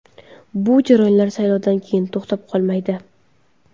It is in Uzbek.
Bu jarayonlar saylovdan keyin to‘xtab qolmaydi.